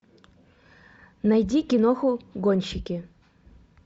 найди киноху гонщики